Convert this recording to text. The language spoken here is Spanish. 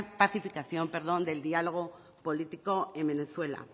pacificación del dialogo político en venezuela